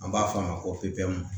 An b'a f'a ma ko ppu